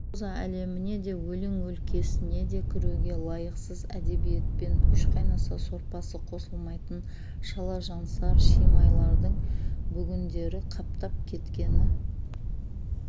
проза әлеміне де өлең өлкесіне де кіруге лайықсыз әдебиетпен үш қайнаса сорпасы қосылмайтын шалажансар шимайлардың бүгіндері қаптап кеткені